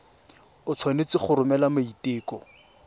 o tshwanetse go romela maiteko